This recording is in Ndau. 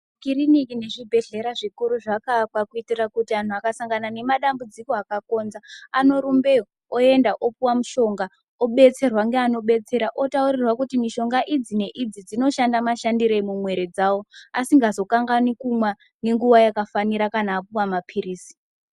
Kiriniki nezvibhedhlera zvikuru zvakaakwa kuitira kuti anhu akasangana nemadambudziko akakonza anorumbeyo oenda opuwa mushonga obetserwa ngaano betsera otaurirwa kuti mushonga idzi neidzi dzinoshanda mashandirei mumwiri dzawo asingazokanganwi kumwa ngenguwa yakafanira kana apuwa mapirizi.